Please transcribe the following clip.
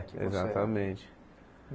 Exatamente.